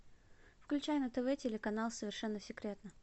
включай на тв телеканал совершенно секретно